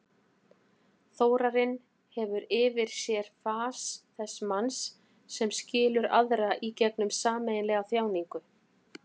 Þórarinn hefur yfir sér fas þess manns sem skilur aðra í gegnum sameiginlega þjáningu.